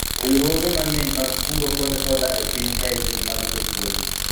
riwruoge mang'eny mag kungo kod hola e piny kae gin mag jopuonj